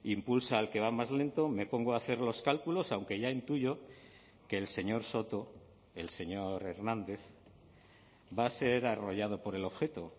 impulsa al que va más lento me pongo a hacer los cálculos aunque ya intuyo que el señor soto el señor hernández va a ser arrollado por el objeto